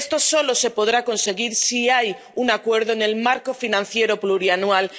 Esto solo se podrá conseguir si hay un acuerdo en el marco financiero plurianual.